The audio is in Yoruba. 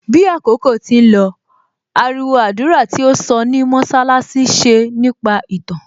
Bí àkókò tí ń lọ, ariwo àdúrà tí ó sọ ní mọṣálásí ṣe nípa ìtàn